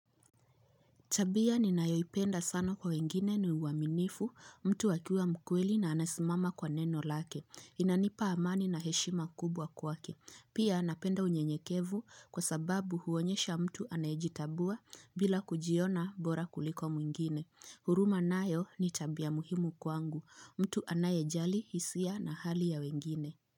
Tabia ni nayoipenda sana kwa wengine ni uaminifu mtu akiwa mkweli na anasimama kwa neno lake. Inanipa amani na heshima kubwa kwake. Pia napenda unye nyekevu kwa sababu huonyesha mtu anajitabua bila kujiona bora kuliko mwingine. Huruma nayo ni tabia muhimu kwangu. Mtu anaye jali hisia na hali ya wengine.